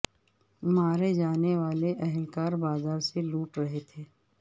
مارے جانے والے اہلکار بازار سے لوٹ رہے تھے